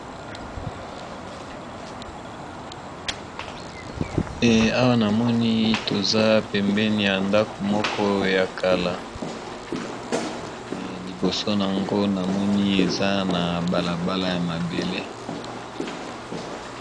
Awa namoni toza pembeni ya ndako moko ya kala liboso nango na moni eza na balabala ya mabele .